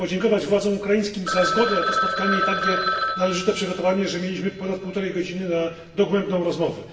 Chciałbym podziękować władzom ukraińskim za zgodę na to spotkanie i takie należyte przygotowanie, że mieliśmy ponad półtorej godziny na dogłębną rozmowę.